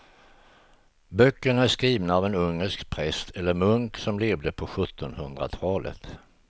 Böckerna är skrivna av en ungersk präst eller munk som levde på sjuttonhundratalet.